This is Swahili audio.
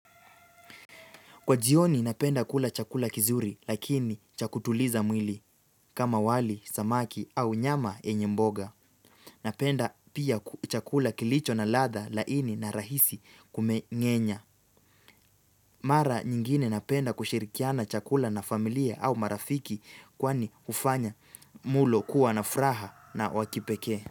Kwa jioni napenda kula chakula kizuri lakini cha kutuliza mwili kama wali, samaki au nyama yenye mboga. Napenda pia chakula kilicho na ladha laini na rahisi kumengenya. Mara nyingine napenda kushirikiana chakula na familia au marafiki kwani hufanya mlo kuwa na furaha na wa kipeke.